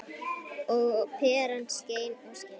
Og peran skein og skein.